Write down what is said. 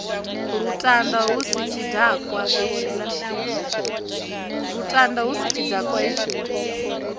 lutanda hu si tshidakwa hetshiḽa